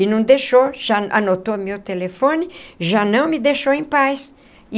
E não deixou, já anotou meu telefone, já não me deixou em paz.